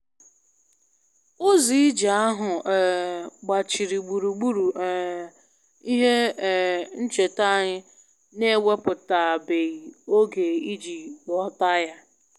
Ụzọ ije ahụ um gbachiri gburugburu um ihe um ncheta anyị na-ewepụtabeghị oge iji ghọta ya